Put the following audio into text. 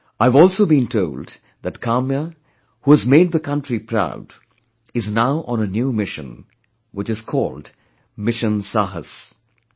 I have also been told that Kamya, who has made the country proud, is now on a new mission, which is called 'Mission Saahas'